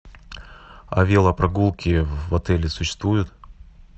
а велопрогулки в отеле существует